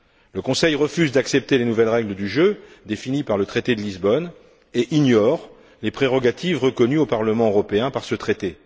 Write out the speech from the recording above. Le Conseil refuse d'accepter les nouvelles règles du jeu définies par le traité de Lisbonne et ignore les prérogatives reconnues au Parlement européen par ce traité.